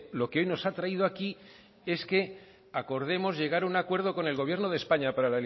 lo que hoy nos ha traído aquí es que acordemos llegar a un acuerdo con el gobierno de españa para